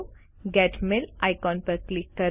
gate mail icon પર click કરો